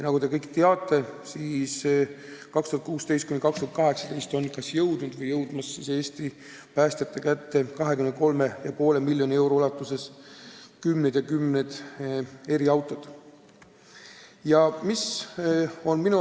Nagu te ehk teate, aastail 2016–2018 on kas jõudnud või jõudmas Eesti päästjate käsutusse 23,5 miljoni euro eest kümneid eriautosid.